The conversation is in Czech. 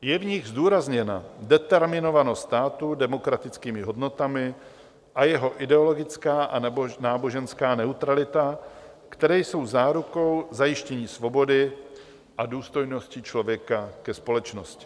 Je v nich zdůrazněna determinovanost státu demokratickými hodnotami a jeho ideologická anebo náboženská neutralita, které jsou zárukou zajištění svobody a důstojnosti člověka ve společnosti.